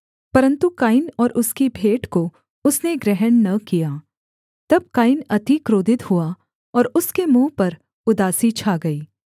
परन्तु कैन और उसकी भेंट को उसने ग्रहण न किया तब कैन अति क्रोधित हुआ और उसके मुँह पर उदासी छा गई